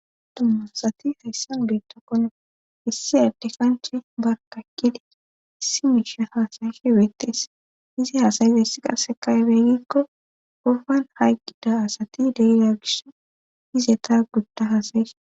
dumma asati hayssan beettakkone issi adde kanche barkakkedi issi miisha hasayishe weettees izi haasayiza yssi qarsekaybeygikko gofan haygida asati deila gish hizeta gudda haasayihe